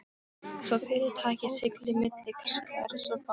svo fyrirtækið sigli milli skers og báru.